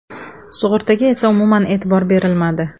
Sug‘urtaga esa umuman e’tibor berilmadi.